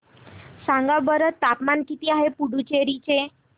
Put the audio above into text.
सांगा बरं तापमान किती आहे पुडुचेरी चे